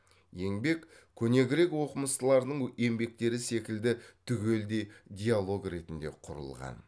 еңбек көне грек оқымыстыларының еңбектері секілді түгелдей диалог ретінде құрылған